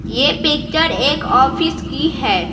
यह पिक्चर एक ऑफिस की है।